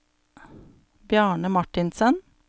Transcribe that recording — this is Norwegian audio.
Bjarne Marthinsen